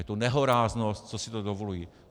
Je to nehoráznost, co si to dovolují.